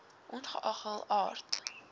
ongeag hul aard